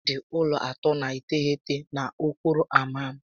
Ha dị ụlọ narị atọ na iteghete na okporo ámá m